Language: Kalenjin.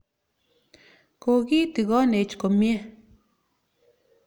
Ko ki tigonech komnye.